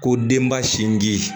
Ko denba sinji